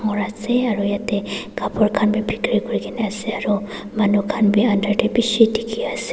ase aro yatae Kapur khan bi bikiri kurikaena ase aro manu khan bi under tae bishi dikhiase.